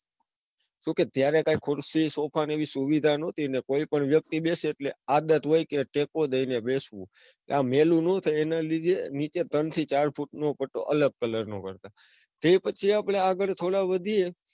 કમ કે ત્યારે કોઈ ખુરસી સોફા જેવી સુવિધા ન હતી. અને કોઈ પણ વ્યક્તિ બેસે એટલે કે આદત હોય કે ટેકો લઈને બેસવું, આ મહેલું ના થાય એના લીધે નીચે ત્રણ થી ચાર ફુટ નો પટ્ટો અલગ colour નો કરતા. તે પછી આપણે આગળ થોડા વધીયે.